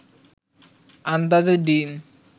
আন্দাজে দিন